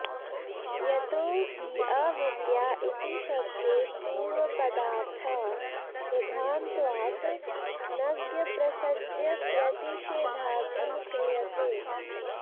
यतो हि अविद्या इति शब्दे पूर्वपदार्थः प्रधानत्वात् नञप्रसज्यप्रतिषेधार्थः क्रियते